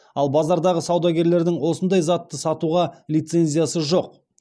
ал базардағы саудагерлердің осындай затты сатуға лицензиясы жоқ